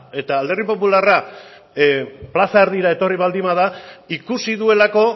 eta alderdi popularra plaza erdira etorri baldin bada ikusi duelako